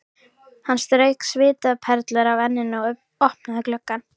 Hann strauk svitaperlur af enninu og opnaði gluggann.